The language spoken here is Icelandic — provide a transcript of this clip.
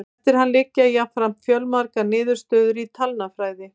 Eftir hann liggja jafnframt fjölmargar niðurstöður í talnafræði.